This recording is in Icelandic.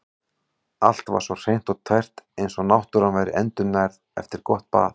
Allt var svo hreint og tært eins og náttúran væri endurnærð eftir gott bað.